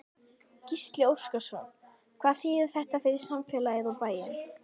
Gísli Óskarsson: Hvað þýðir þetta fyrir samfélagið, og bæinn?